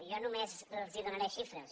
jo només els donaré xifres